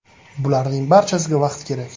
Bularning barchasiga vaqt kerak.